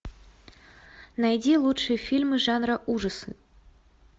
найди лучшие фильмы жанра ужасы